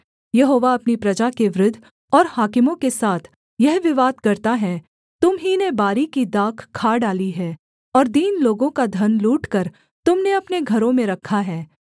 यहोवा अपनी प्रजा के वृद्ध और हाकिमों के साथ यह विवाद करता है तुम ही ने बारी की दाख खा डाली है और दीन लोगों का धन लूटकर तुम ने अपने घरों में रखा है